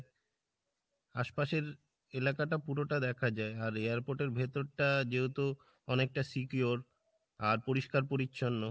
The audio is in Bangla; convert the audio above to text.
আশপাশের এলাকাটা পুরোটা দেখ যাই আর airport এর ভিতরটা যেহেতু অনেকটা secure আর পরিষ্কার পরিছন্ন